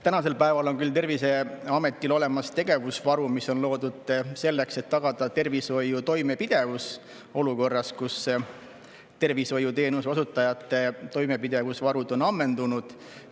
Tänasel päeval on küll Terviseametil olemas tegevusvarud, mis on loodud selleks, et tagada tervishoiu toimepidevus olukorras, kus tervishoiuteenuse osutajate toimepidevusvarud on ammendunud.